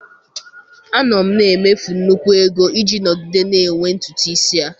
Anọ m na-emefu nnukwu ego iji nọgide na-enwe ntutu isi a.